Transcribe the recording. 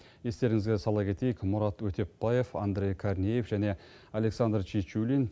естеріңізге сала кетейік мұрат өтепбаев андрей корнеев және александр чечулин